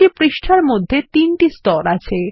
প্রতিটি পৃষ্ঠার মধ্যে তিনটি স্তর আছে